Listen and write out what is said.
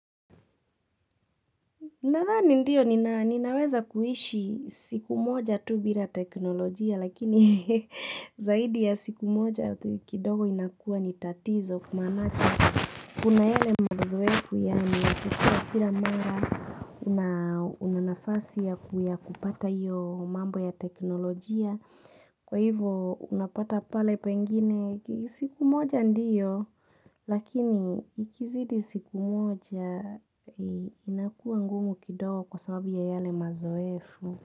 Nathani ndiyo ninaweza kuishi siku moja tu bila teknolojia lakini zaidi ya siku moja kidogo inakua nitatizo kumanati. Kuna yale mazoevu ya kukua kila mara unanafasi ya kupata iyo mambo ya teknolojia. Kwa hivyo unapata pale pengine siku moja ndiyo lakini ikizidi siku moja inakuwa ngumu kidago kwa sababu ya yale mazoefu.